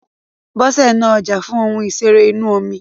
Bọ́sẹ̀ ń ná ọjà fún ohun ìṣeré inú omi.